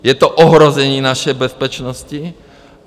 Je to ohrožení naší bezpečnosti.